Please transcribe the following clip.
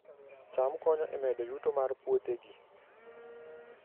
cham konyo e medo yuto mar puothegi